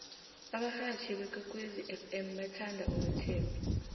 abarhatjhi bekwekwezi fm bathanda unothembi